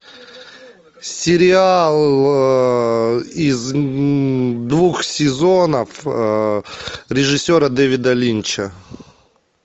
сериал из двух сезонов режиссера дэвида линча